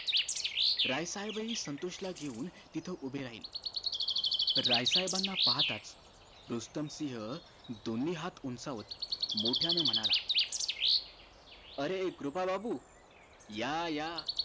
राय साहेब हि संतोष ला घेऊन तिथं उभे राहिले राय साहेबाना पाहताच रुस्तम सिंह दोन्ही हात उंचावत मोठ्यानं म्हणाला अरे कृपा बाबू या या